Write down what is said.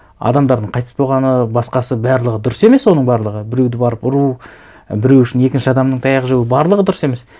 адамдардың қайтыс болғаны басқасы барлығы дұрыс емес оның барлығы біреуді барып ұру біреу үшін екінші адамның таяқ жеуі барлығы дұрыс емес